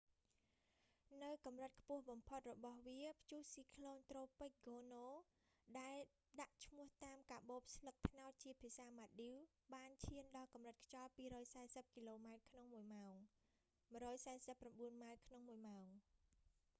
នៅកម្រិតខ្ពស់បំផុតរបស់វា ព្យុះស៊ីក្លូន​ត្រូពិក​ ហ្គោនូ tropical cyclone gonuដែល​​​ដាក់ឈ្មោះតាម​កាបូបស្លឹកត្នោតជាភាសាម៉ាល់ឌីវ​ ​បានឈាន​ដល់កម្រិតខ្យល់ 240 គីឡូម៉ែត្រក្នុងមួយម៉ោង 149 ម៉ាលយ៍​ ក្នុងមួយម៉ោង ។